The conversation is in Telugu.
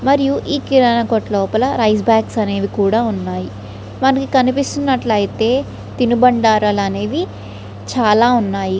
మరియు ఈ కిరాణ కొట్టు లోపల రైస్ బాగ్స్ అనేవి కూడ ఉన్నాయి. మనకి కనిపిస్తున్నట్లతే తినుబండారాలు అనేవి చాల ఉన్నాయి.